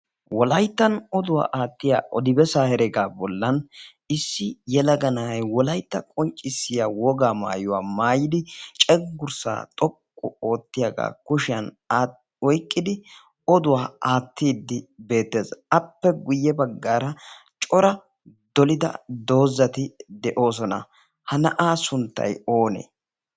wolayttan oduwaa aattiya odibesaaheregaa bollan issi yalaga na'ai wolaytta qonccissiya wogaa maayuwaa maayidi ceggurssaa xoqqu oottiyaagaa kushiyan oiqqidi oduwaa aattiiddi beettees. appe guyye baggaara cora dolida doozati de'oosona. ha na'aa sunttay oonee?